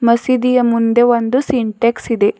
ಮಸೀದಿಯ ಮುಂದೆ ಒಂದು ಸಿಂಟ್ಯಾಕ್ಸ್ ಇದೆ.